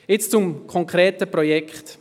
Jetzt zum konkreten Projekt.